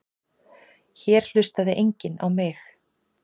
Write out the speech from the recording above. Hér hlustaði enginn á mig.